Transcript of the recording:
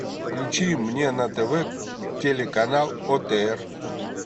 включи мне на тв телеканал отр